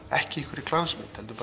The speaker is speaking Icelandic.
ekki í einhverri glansmynd heldur